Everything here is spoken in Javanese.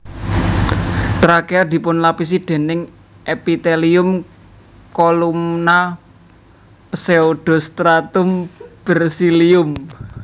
Trakea dipunlapisi déning Epitelium Kolumna pseudostratum bersilium